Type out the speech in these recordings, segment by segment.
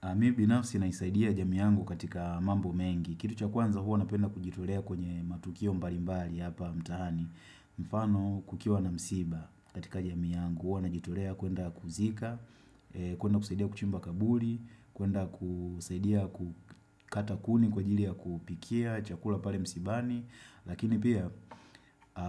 A mi binafsi naisaidia jamii yangu katika mambo mengi. Kitu cha kwanza huwa napenda kujitolea kwenye matukio mbalimbali hapa mtaani. Mfano kukiwa na msiba katika jamiy yangu. Huo najitorea kwenda kuzika, kwenda kusaidia kuchimba kaburi, kwenda kusaidia kukata kuni kwa ajili ya kupikia, chakula pale msibani. Lakini pia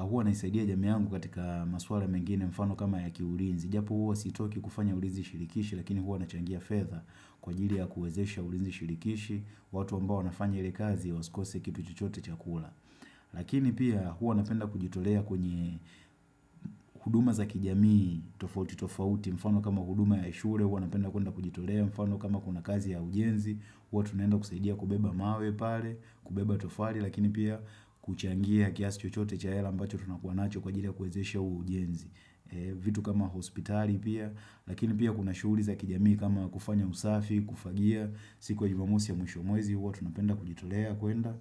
huwa naisaidia jamii yangu katika maswala mengine mfano kama ya kiulinzi Japo huwa sitaki kufanya ulinzi shirikishi lakini huwa nachangia fedha Kwa ajili ya kuwezesha ulinzi shirikishi watu ambao wanafanya ile kazi wasikose kitu chochote cha kula Lakini pia huwa napenda kujitolea kwenye huduma za kijamii tofauti tofauti mfano kama huduma ya shule huwa napenda kwenda kujitolea mfano kama kuna kazi ya ujenzi Huwa tunaenda kusaidia kubeba mawe pale kubeba tofali lakini pia kuchangia kiasi chochote cha hela ambacho tunakuanacho kwa ajili ya kuwezesha ujenzi. Vitu kama hospitali pia, lakini pia kuna shughuli za kijamii kama kufanya usafi, kufagia, siku wa jumamosi ya mwisho wa mwezi, huwa tunapenda kujitolea, kwenda,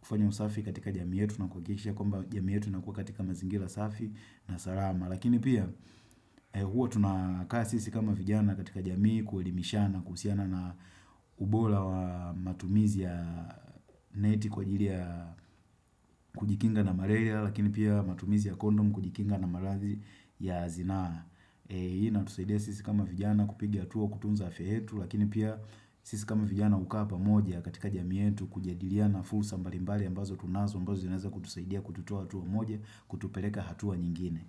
kufanya usafi katika jamii yetu na kuhakikisha, kwamba jamii yetu inakuwa katika mazingira safi na salama. Lakini pia, huwa tunakaa sisi kama vijana katika jamii, kuelimishana kuhusiana na ubora wa matumizi ya neti kwa ajili ya kujikinga na malaria lakini pia matumizi ya kondom kujikinga na maradhii ya zinaa inatusaidia sisi kama vijana kupiga hatua kutunza afya yetu lakini pia sisi kama vijana hukaa pamoja katika jamii yetu kujadiliana fursa mbalimbali ambazo tunazo ambazo zinaeza kutusaidia kututoa hatua moja kutupeleka hatua nyingine.